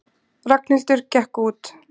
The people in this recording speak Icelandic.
Ragnhildur gekk út.